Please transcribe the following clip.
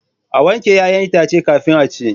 A wanke 'ya'yan itace kafin a ci.